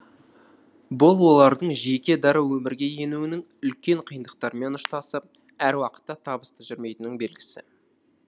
бұл олардың жеке дара өмірге енуінің үлкен қиындықтармен ұштасып әр уақытта табысты жүрмейтінінің белгісі